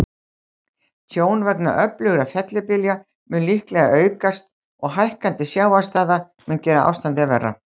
Tjón vegna öflugra fellibylja mun líklega aukast, og hækkandi sjávarstaða mun gera ástandið verra.